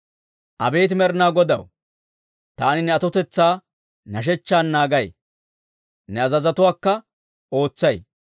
Abeet Med'inaa Godaw, taani ne atotetsaa hidootaan naagay; ne azazotuwaakka ootsay.